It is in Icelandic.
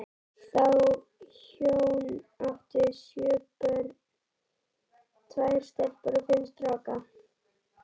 Þau hjón áttu sjö börn, tvær stelpur og fimm stráka.